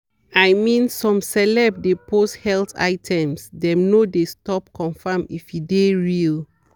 i mean some celeb de post health items dem no de stop confirm if e de real.